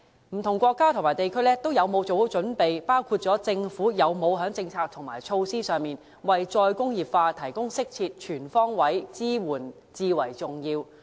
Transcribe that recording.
不同國家和地區有否做好準備，包括政府有否在政策和措施上，為"再工業化"提供適切及全方位的支援至為重要。